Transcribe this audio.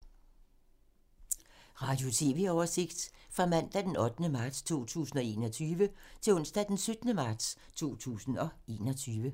Radio/TV oversigt fra mandag d. 8. marts 2021 til onsdag d. 17. marts 2021